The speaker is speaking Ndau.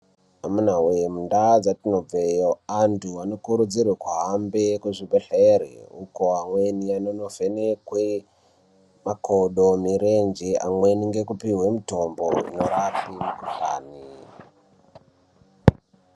Amuna woye mundau dzatinobveyo antu anokurudzirwa kuhambe kuzvibhedhlere uko amweni anondovhenekwe makodo mirenje amweni ngekupuhwe mitombo inorape mukhuhlani.